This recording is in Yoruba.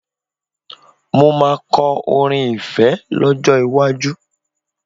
Mo máa kọ orin ìfẹ́ lọ́jọ́ iwájú